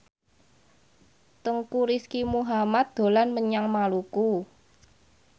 Teuku Rizky Muhammad dolan menyang Maluku